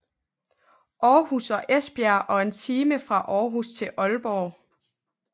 Aarhus og Esbjerg og en time fra Aarhus til Aalborg